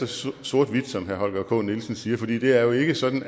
så sort hvidt som herre holger k nielsen siger for det det er jo ikke sådan